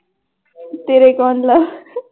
ਤੇਰੇ